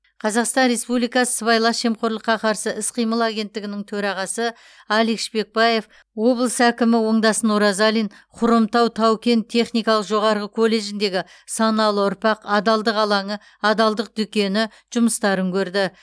қазақстан республикасы сыбайлас жемқорлыққа қарсы іс қимыл агенттігінің төрағасы алик шпекбаев облыс әкімі оңдасын оразалин хромтау тау кен техникалық жоғарғы колледжіндегі саналы ұрпақ адалдық алаңы адалдық дүкені жұмыстарын көрді